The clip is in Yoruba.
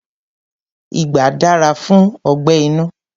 Igbà dára fún ọgbẹ́ inú.